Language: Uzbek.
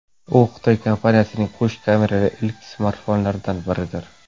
U Xitoy kompaniyasining qo‘sh kamerali ilk smartfonlaridan biridir.